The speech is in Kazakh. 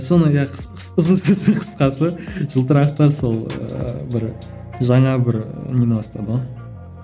соны иә ұзын сөздің қысқасы жылтырақтар сол ы бір жаңа бір нені бастады ғой